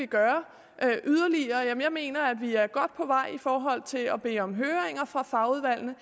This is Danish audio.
gøre yderligere mener jeg at vi er godt på vej i forhold til at bede om høringer fra fagudvalgene